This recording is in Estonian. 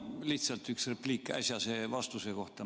No lihtsalt üks repliik äsjase vastuse kohta.